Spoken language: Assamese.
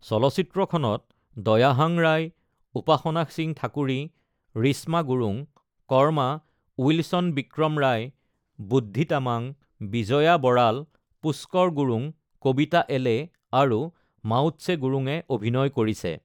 চলচ্চিত্ৰখনত দয়াহাং ৰায়, উপাসনা সিং ঠাকুৰী, ৰিশ্মা গুৰুং, কৰ্মা, উইলচন বিক্ৰম ৰায়, বুদ্ধি তামাং, বিজয়া বৰাল, পুস্কৰ গুৰুং, কবিতা এলে আৰু মাওৎছে গুৰুঙে অভিনয় কৰিছে।